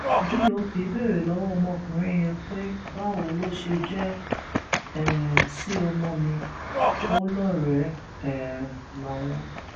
dop béèrè lọwọ ọmọkùnrin yẹn pé báwo ló ṣe jẹ um sí ọmọ mi ò lọrẹẹ um láwọn